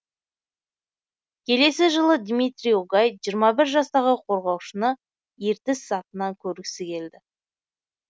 келесі жылы дмитрий огай жиырма бір жастағы қорғаушыны ертіс сапынан көргісі келді